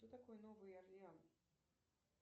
кто такой новый орлеан